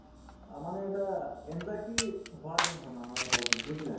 অ, মানে এটা anxiety হোৱাৰ যেন হয় মানুহৰ মগজুত বুজিলা